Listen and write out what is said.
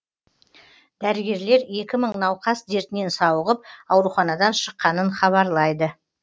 дәрігерлер екі мың науқас дертінен сауығып ауруханадан шыққанын хабарлайды